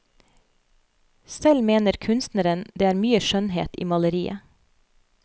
Selv mener kunstneren det er mye skjønnhet i maleriet.